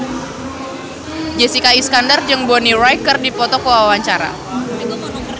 Jessica Iskandar jeung Bonnie Wright keur dipoto ku wartawan